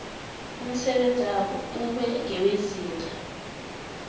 umsebenzabo ube ngewezinga